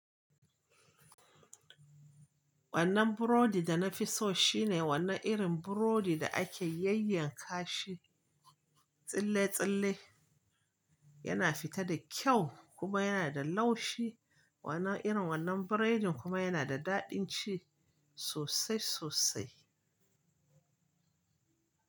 Wannan burodi da na fi so shine wannan irin burodi da ake yayyanka shi tsille-tsille. Yana fita da kyau kuma yana da laushi. Wannan irin wannan biredin kuma yana da daɗin ci sosai sosai.